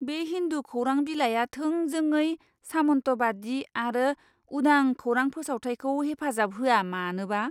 बे हिन्दु खौरां बिलाइआ थोंजोङै सामन्तबादी आरो उदां खौरां फोसावथायखौ हेफाजाब होआ मानोबा!